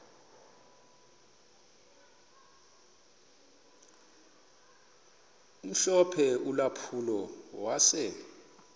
omhlophe ulampulo wase